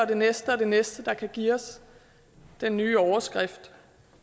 det næste og det næste der kan give os den nye overskrift